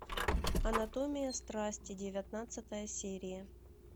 анатомия страсти девятнадцатая серия